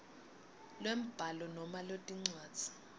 lwembhalo noma lencwadzi